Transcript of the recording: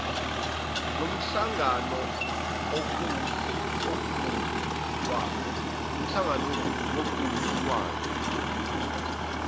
lomhlangano okuwuhlu lwayo